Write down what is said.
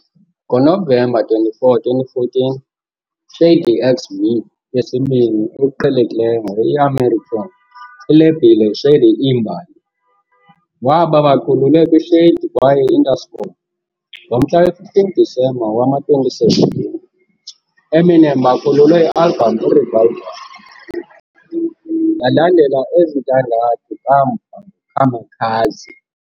Ngonovemba 24, 2014, ShadyXV, yesibini okuqhelekileyo nge-i-american ilebhile Shady Iimbali, waba bakhululwe kwi Shady kwaye Interscope. Ngomhla we-15 disemba, ngowama-2017, Eminem bakhululwe i-album Revival, yalandela ezintandathu kamva ngo Kamikaze.